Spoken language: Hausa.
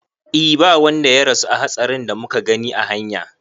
E ba wanda ya rasu a hatsarin da muka gani a hanya